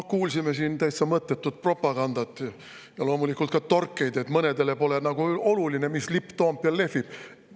No kuulsime siin täitsa mõttetut propagandat ja loomulikult ka torkeid, et mõnele pole nagu oluline, mis lipp Toompeal lehvib.